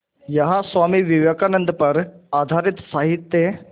यहाँ स्वामी विवेकानंद पर आधारित साहित्य